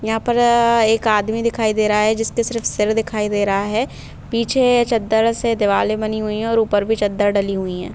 यहां पर एक आदमी दिखाई दे रहा है जिसके सिर्फ सिर दिखाई दे रहा है पीछे चद्दर से दीवाले बनी हुई हैं और भी चद्दर डली हुई हैं।